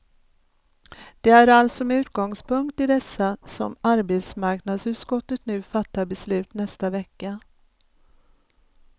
Det är alltså med utgångspunkt i dessa som arbetsmarknadsutskottet nu fattar beslut nästa vecka.